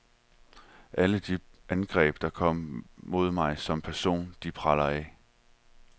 Alle de angreb, der kommer mod mig som person, de preller af.